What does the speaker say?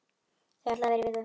Þau ætluðu að vera í viku.